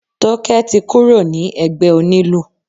Tókẹ́ ti kúrò ní ẹgbẹ́ onílù.